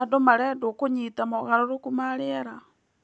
Andũ marendwo kũnyita mogarũrũku ma rĩera.